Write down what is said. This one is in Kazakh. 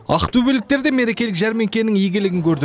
ақтөбеліктер де мерекелік жәрмеңкенің игілігін көрді